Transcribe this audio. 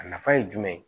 A nafa ye jumɛn ye